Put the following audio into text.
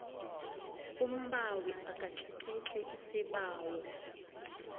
umbawi akatlikitli isibawo